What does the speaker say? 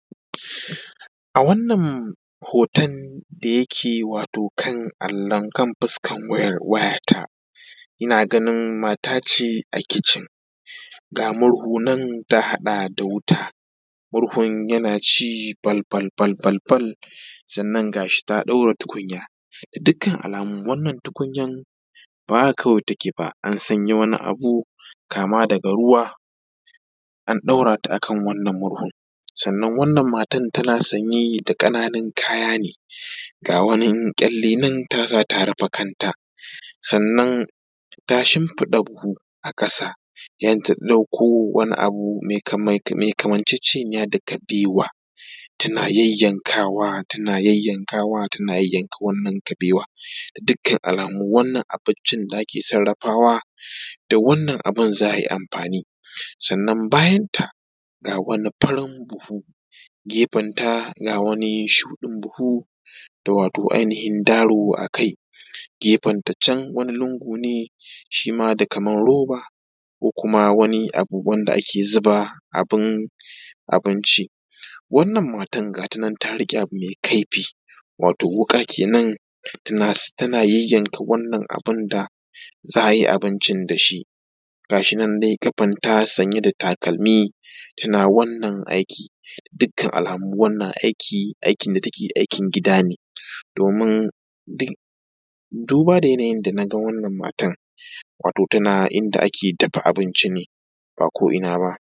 A wanan hoton da yake wato kan allon fuskar wayata, ina ganin mata ce a kicin ga murhu nan ta haɗa da wuta. Murhun yana ci bal bal bal, sannan ga shi ta ɗaura tukunya da dukkan alamu wannan tukunyan ba haka kawai take ba, an sanya wani abu kama daga ruwa, an ɗaura ta a kan wannan murhun. Sannan wannan matan tana sanye da ƙananu kaya ne ga wani ƙyalle nan ta sa ta rufe kanta sannan ta shimfiɗa buhu a ƙasa sai ta ɗauko wani abu mai kamar ciccinya da kabewa tana yayyanka wa tana yayyanka wa tana yayyanka wannan kabewa, da dukkan alamu wannan abinci da ake sarafawa da wannan abun za a yi amfani. Sannan bayanta ga wanin farin buhu gefanta, ga wani shuɗin buhu da wato ainihin daro akai gefan ta can wani lungu ne shi ma da kamar roba ko kuma wani abu wanda ake zuba abin abinci wannan matar gata nan ta riƙe abu mai kaifi wato wuƙa kenan tana yanyanka wannan abu da za a yi abinci da shi. Gashi nan dai ƙafanta sanye da takalmi tana wannan aikin. Dukka alamu wannan aikin tana aikin gida ne domin duba da yanayin na ga wannan matar wato tana inda ake dafa abinci ne ba ko ina ba.